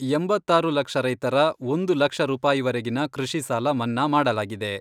ಎಂಬತ್ತಾರು ಲಕ್ಷ ರೈತರ ಒಂದು ಲಕ್ಷ ರೂಪಾಯಿವರೆಗಿನ ಕೃಷಿ ಸಾಲ ಮನ್ನಾ ಮಾಡಲಾಗಿದೆ.